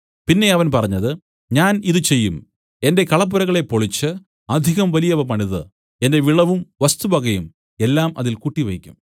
പിന്നെ അവൻ പറഞ്ഞത് ഞാൻ ഇതു ചെയ്യും എന്റെ കളപ്പുരകളെ പൊളിച്ച് അധികം വലിയവ പണിതു എന്റെ വിളവും വസ്തുവകയും എല്ലാം അതിൽ കൂട്ടിവയ്ക്കും